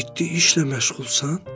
Ciddi işlə məşğulsan?